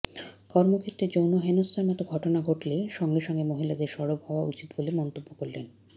কর্মক্ষেত্রে যৌন হেনস্থার মতো ঘটনা ঘটলে সঙ্গে সঙ্গে মহিলাদের সরব হওয়া উচিত বলে মন্তব্য করলেন